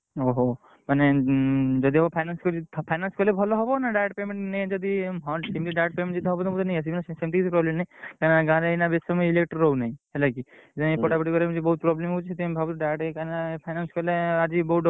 ଓହୋ ମାନେ ଉଁ, ଯଦି ହବ finance କରିବି finance କଲେ ଭଲ ହବ ନା direct payment ହଁ ସେମିତି direct payment ଯଦି ହବ ମୁଁ ନେଇ ଆସିବି ନା ସେମିତି କିଛି କହିଲେନି କାଇଁ ନା ଗାଁ ରେ ଏବେ ବେଶୀ ସମୟ electric ରହୁନାଇଁ ହେଲାକି ପଢାପଢି କରି ହଉନାଇଁ ଭଉତ୍ problem ହଉଛି ସେଥିପାଇଁ ଭାବୁଛି ପୁରା direct କାଇଁ ନା finance କଲେ ଆଜି।